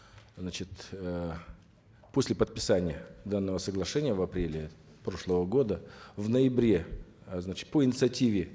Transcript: значит э после подписания данного соглашения в апреле прошлого года в ноябре э значит по инициативе